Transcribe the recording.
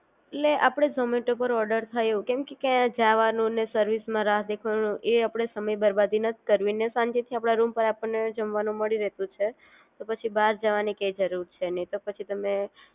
લે આપડે ઝોમેટો પર ઓર્ડર થયો, કેમ કે ક્યાંય જાવાનો ને સર્વિસ માં રાહ દેખાવા નો, એ આપડે સમય બરબાદી નથી કરવી, ને શાંતિ થી આપણે રૂમ પર આપણને જમવા નું મળી રેતુ છે. તો પછી બાર જવાની કઈ જરૂર છે નહિ તો પછી તામે